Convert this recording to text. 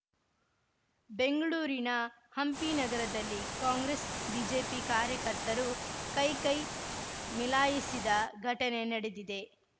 ಬೆಂಗ್ಳೂರಿನ ಹಂಪಿನಗರದಲ್ಲಿ ಕಾಂಗ್ರೆಸ್‌ಬಿಜೆಪಿ ಕಾರ್ಯಕರ್ತರು ಕೈಕೈ ಮೀಲಾಯಿಸಿದ ಘಟನೆ ನಡೆದಿದೆ